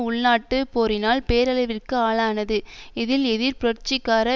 உள்நாட்டுப் போரினால் பேரழிவிற்கு ஆளானது இதில் எதிர்ப்புரட்சிகார